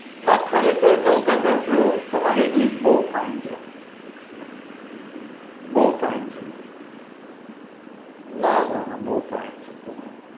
ના ખરેખર કઉ કાકા તો તમારી english બઉ fine છે હો બઉ fine છે ના ના ના fine છે તમે